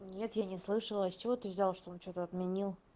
нет я не слышала с чего ты взял что он что-то отменил